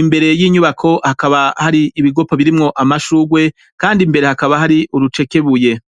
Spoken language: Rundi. imbere y'inyubako hakaba hari ibigopo birimwo amashurwe, kandi imbere hakaba hari urucekebuye.